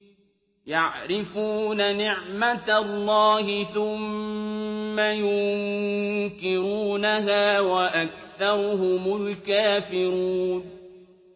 يَعْرِفُونَ نِعْمَتَ اللَّهِ ثُمَّ يُنكِرُونَهَا وَأَكْثَرُهُمُ الْكَافِرُونَ